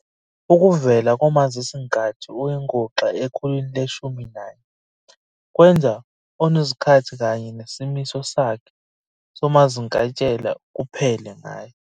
Ukuvela komazisinkathi oyinguxa ekhulwini le-14 kwenza unozikhathi kanye nesimiso sakhe somazinkintshela kuphele ngaye.